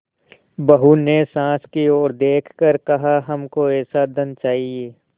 बहू ने सास की ओर देख कर कहाहमको ऐसा धन न चाहिए